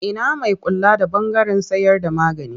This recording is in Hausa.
Ina mai kula da ɓangaren sayarda magani?